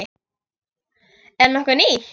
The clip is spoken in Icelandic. Er nokkuð nýtt?